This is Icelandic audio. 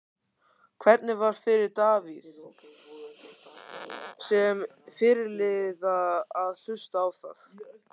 Hvernig var fyrir Davíð, sem fyrirliða, að hlusta á það?